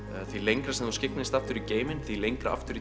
því lengra sem þú skygnist aftur í geiminn því lengra aftur